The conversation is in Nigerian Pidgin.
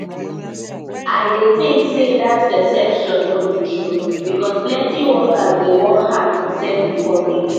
i dey think say dat perception no be true because plenty workers dey work hard to serve di public.